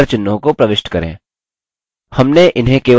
हमने इन्हें केवल एक बार प्रविष्ट किया